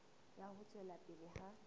ya ho tswela pele ha